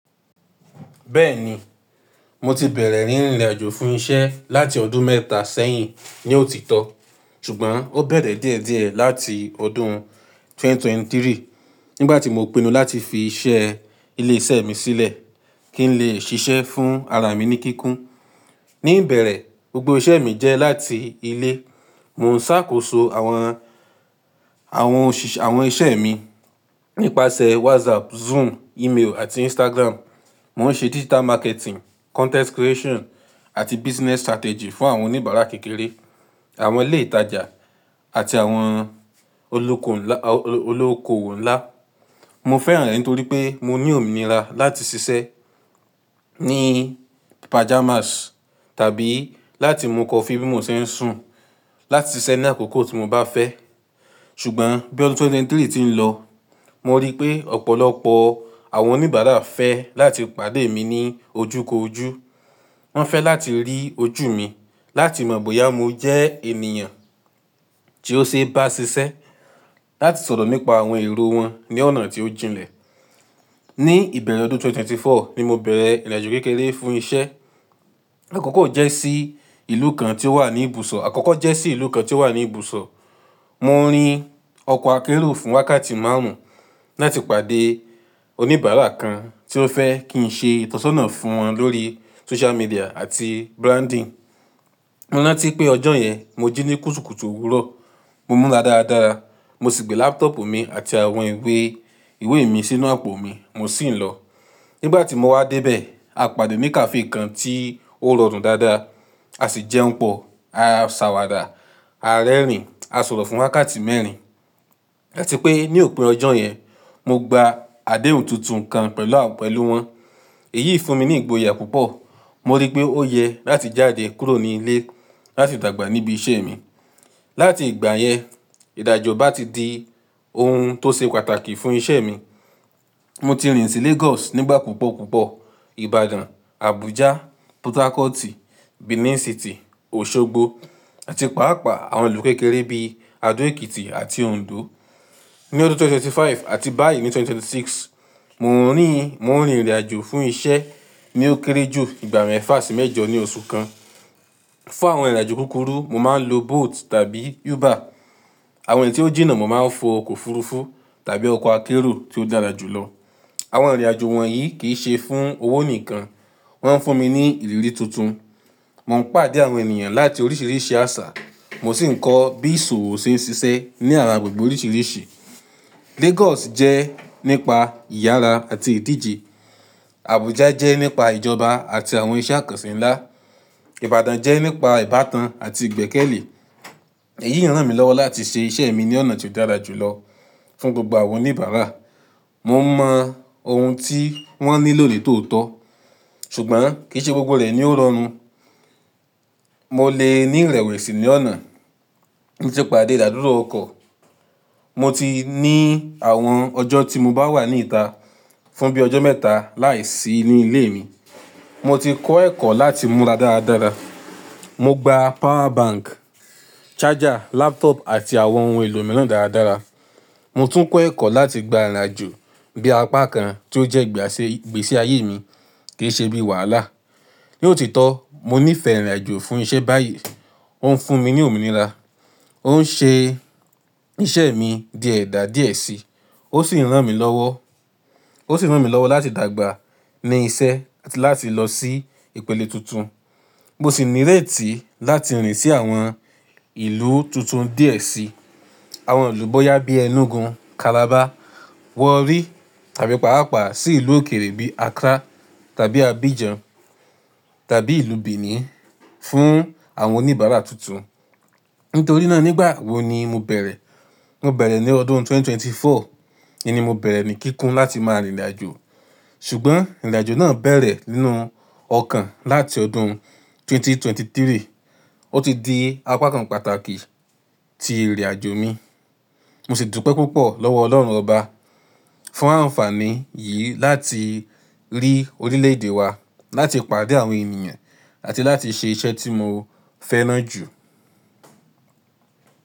Bẹ́ẹ̀ni, mo ti bẹ̀rẹ̀ ní ìrìnàjò fún iṣẹ́ láti ọdún mẹ́ta sẹ́yìn ní òtítọ́, ṣùgbọ́n ó bẹ̀rẹ̀ díẹ̀díẹ̀ láti ọdún ẹgbẹ̀rún méjì ó lé ẹ́tàlélógún nígbà tí mo pinnu láti fi iṣẹ́ ilé iṣẹ́ mi sílẹ̀ kí n lè ṣiṣẹ́ fún ara mi ní kíkún. Ní ìbẹ̀rẹ̀, gbogbo iṣẹ́ mi jẹ́ láti ilé. Mo ń ṣàkóso àwọn, àwọn òṣìṣ, àwọn iṣẹ́ mi nípasẹ̀ WhatsApp, Zoom, email àti Instagram. Mo ń ṣe digital marketing, content creation àti business strategy fún àwọn oníbàárà kékeré, àwọn ilé ìtajà àti àwọn olóko ńlá, olóòkowo ńlá. Mo fẹ́ràn rẹ̀ nítorí pé mo ní òmìnira láti ṣiṣẹ́ ní pajamas tàbí láti mú coffee bí mo ṣe ń sùn, láti ṣiṣẹ́ ní àkókò tí mo bá fẹ́. Ṣùgbọ́n bí ọdún ẹgbẹ̀rún méjì ó lé ẹ́tàlélógún ti ń lọ, mo rí pé ọ̀pọ̀lọpọ̀ àwọn oníbàárà fẹ́ láti pàdé mi ní ojúko ojú. Wọ́n fẹ́ láti rí ojú mi, láti mọ̀ bóyá mo jẹ́ ènìyàn tí ó ṣe é bá ṣiṣẹ́, láti sọ̀rọ̀ nípa àwọn èrò wọn ní ọ̀nà tí ó jìnlẹ̀. Ní ìbẹ̀rẹ̀ ọdún ẹgbẹ̀rún méjì ó lé ẹ́rinlélógún ni mo bẹ̀rẹ̀ ìrìnàjò kékeré fún iṣẹ́. Àkọ́kọ́ jẹ́ sí ìlú kan tí ó wà ní ibùsọ̀, àkọ́kọ́ jẹ́ sí ìlú kan tí ó wà ní ibùsọ̀. Mo ń rin ọkọ̀ akérò fún wákàtí márùn-ún láti pàdé oníbàárà kan tí ó fẹ́ kí n ṣe ìtọ́sọ́nà fún wọn lórí social media àti branding. Mo ranti pé ọjọ́ yẹn, mo jí ní kùtùkùtù òwúrọ̀, mo múra dáradára, mo sì gbé laptop mi àti àwọn ìwé, ìwé mi sínú àpò mi, mo sì ń lọ. Nígbà tí mo wá dé bẹ̀, a pàdé ní cafe kan tí ó rọrùn dáadáa. A sì jẹun pọ̀, a sàwàdà, a rẹ́rìn, a sọ̀rọ̀ fún wákàtí mẹ́rin. Làti pé ní òpin ọjọ́ yẹn, mo gba àdéhùn tuntun kan pẹ̀lú à, pẹ̀lú wọn. Èyí fún mi ní ìgboyà púpọ̀. Mo rí pé ó yẹ láti jáde kúrò ní ilé láti dàgbà níbi iṣẹ́ mi. Lati ìgbà yẹn, ìdàjò bá ti di ohun tó ṣe pàtàkì fún iṣẹ́ mi. Mo ti rìn sí Lagos nígbà púpọ̀ púpọ̀, Ibadan, Abuja, Port Harcourt, Benin City, Osogbo àti pàápàá àwọn ìlú kékeré bí i Ado Ekiti àti Ondo. Ni ọdún ẹgbẹ̀rún méjì ó lé ẹ́ẹ́dọ́gbọ̀n àti báyìí ni ẹgbẹ̀rún méjì ó lé mẹ́rìndínlọ́gbọ̀n, mo ń rí, mo ń rin ìrìnàjò fún iṣẹ́ ní ó kéré jù ìgbà mẹ́fà sí mẹ́jọ ní oṣù kan. Fún àwọn ìrìnàjò kúkúrú, mo máa ń lo Bolt tàbí Uber. Àwọn èyí tí ó jìnnà, mo máa ń fò ọkọ̀ òfurufú tàbí ọkọ̀ akérò tí ó dára jù lọ. Àwọn ìrìnàjò wọ̀nyí kì í ṣe fún owó nìkan, wọ́n ń fún mi ní ìrírí tuntun. Mo ń pàdé àwọn ènìyàn láti oríṣìíríṣìí àṣà, mo sì ń kọ́ bí ìṣòwò ṣe ń ṣiṣẹ́ ní ara gbègbè oríṣìíríṣìí. Lagos jẹ́ nípa ìyára àti ìdíje. Abuja jẹ́ nípa ìjọba àti àwọn iṣẹ́ àkọsí ńlá. Ibadan jẹ́ nípa ìbátan àti ìgbẹ́kẹ̀lé. Èyí ń ràn mí lọ́wọ́ láti ṣe iṣẹ́ mi ní ọ̀nà tí ó dára jù lọ fún gbogbo àwọn oníbàárà. Mo ń mọ ohun tí wọ́n nílò ní tòòtó, ṣùgbọ́n kì í ṣe gbogbo rẹ̀ ni ó rọrùn. Mo lè ní ìrẹ̀wẹ̀sì ní ọ̀nà nísè pàdé ìdádúró ọkọ̀. Mo ti ní àwọn ọjọ́ tí mo bá wà ní ìta fún bí i ọjọ́ mẹ́ta láìsí nu lé mi. Mo ti kọ́ ẹ̀kọ́ láti múra dáradára. Mo gba power bank, charger, laptop àti àwọn ohun èlò mìíràn dáradára. Mo tún kọ́ ẹ̀kọ́ láti gba ìrìnàjò bí apá kan tí ó jẹ́ ìgbàṣe ìgbésí ayé mi kì í ṣe bí i wàhálà. Ní òtítọ́, mo níìfẹ̀ẹ́ ìrìnàjò fún iṣẹ́ báyìí. Ó ń fún mi ní òmìnira, ó ń ṣe iṣẹ́ mi di ẹ̀dá díẹ̀ síi, ó sì ń ràn mí lọ́wọ́, ó sì ń ràn mí lọ́wọ́ láti dàgbà ní iṣẹ́ àti láti lọ sí ìpele tuntun. Mo sì níréètí láti rìn sí àwọn ìlú tuntun díẹ̀ síi. Àwọn ìlú bóyá bíi Enugu, Calabar, Warri tàbí pàápàá sí ìlú òkèèrè bí i Accra tàbí Abidjan tàbí ìlú Benin fún àwọn oníbàárà tuntun. Nítorí náà nígbà wo ni mo bẹ̀rẹ̀? Mo bẹ̀rẹ̀ ní ọdún ẹgbẹ̀rún méjì ó lé ẹ́rinlélógún. Íni mo bẹ̀rẹ̀ ní kíkún láti máa rin ìrìnàjò, ṣùgbọ́n ìrìnàjò náà bẹ̀rẹ̀ nínú ọkàn láti ọdún ẹgbẹ̀rún méjì ó lé ẹ́tàlélógún. Ó ti di apá kan pàtàkì ti ìrìnàjò mi. Mo sì dùpẹ́ púpọ̀ lọ́wọ́ Ọlọ́run Ọba fún àǹfààní yìí láti rí orílẹ̀-èdè wa, láti pàdé àwọn ènìyàn àti láti ṣe iṣẹ́ tí mo fẹ́ràn jù.